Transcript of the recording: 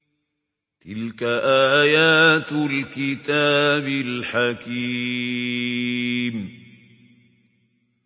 تِلْكَ آيَاتُ الْكِتَابِ الْحَكِيمِ